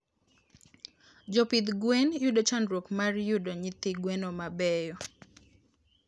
Jopidh gwen yudo chandruok mar yudo nyithi gwen mabeyo